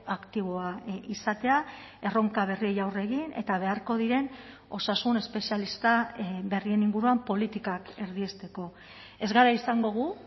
aktiboa izatea erronka berriei aurre egin eta beharko diren osasun espezialista berrien inguruan politikak erdiesteko ez gara izango gu